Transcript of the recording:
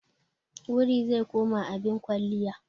Wuri zai koma abin kwalliya.